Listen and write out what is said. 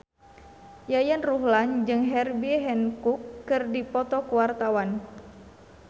Yayan Ruhlan jeung Herbie Hancock keur dipoto ku wartawan